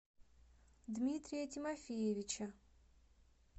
дмитрия тимофеевича